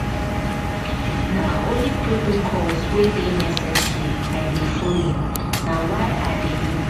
na only protocols wey dey necessary i dey folo na why i dey.